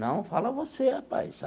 Não, fala você, rapaz.